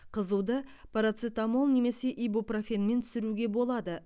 қызуды парацетамол немесе ибупрофенмен түсіруге болады